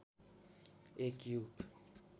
एक युग